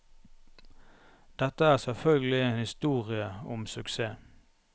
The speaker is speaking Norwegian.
Dette er selvfølgelig en historie om suksess.